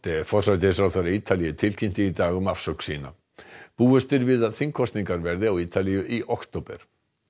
forsætisráðherra Ítalíu tilkynnti í dag um afsögn sína búist er við að þingkosningar verði á Ítalíu í október